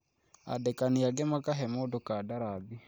Andĩkani angĩ makahe mũndũ kandarathi